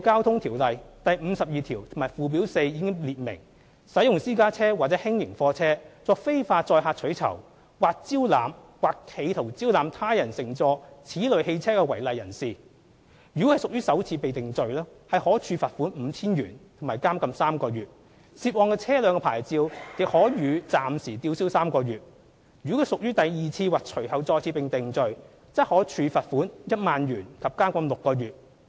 《條例》第52條及附表4已列明，使用私家車或輕型貨車作非法載客取酬；或招攬或企圖招攬他人乘坐此類汽車的違例人士，如屬首次被定罪，可處罰款 5,000 元及監禁3個月，涉案車輛的牌照亦可予暫時吊銷3個月；如屬第二次或隨後再次被定罪，則可處罰款 10,000 元及監禁6個月。